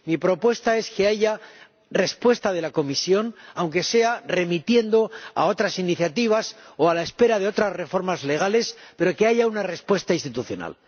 Mi propuesta es que haya respuesta de la Comisión, aunque sea remitiendo a otras iniciativas o aunque sea a la espera de otras reformas legales, pero que haya una respuesta institucional.